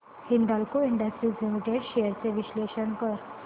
Hindalco industries limited shares चे विश्लेषण कर